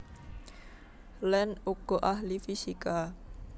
Land uga ahli fisika